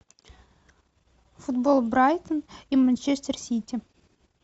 футбол брайтон и манчестер сити